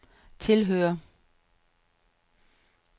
tilhører